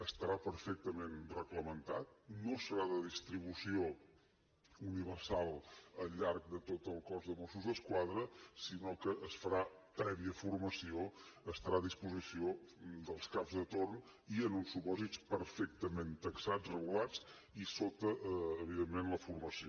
estarà perfectament reglamentat no serà de distribució universal al llarg de tot el cos de mossos d’esquadra sinó que es farà prèvia formació estarà a disposició dels caps de torn i en uns supòsits perfectament taxats regulats i sota evidentment la formació